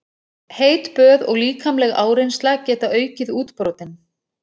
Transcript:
Heit böð og líkamleg áreynsla geta aukið útbrotin.